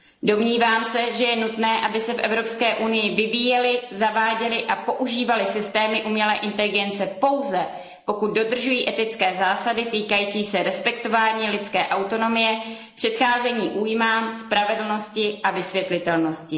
Domnívám se, že je nutné, aby se v Evropské unii vyvíjely, zaváděly a používaly systémy umělé inteligence pouze, pokud dodržují etické zásady týkající se respektování lidské autonomie, předcházení újmám, spravedlnosti a vysvětlitelnosti.